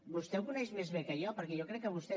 vostè ho coneix més bé que jo perquè jo crec que vostè és